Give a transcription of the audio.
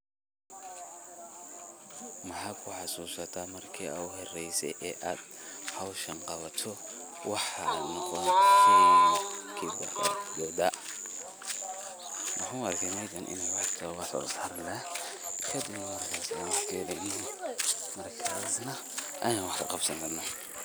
Maxaa buxaa marki ugu horeysay hooshan Qabatoh, waxa mudaha ruun way markaas ina wax Qabsankarnoh.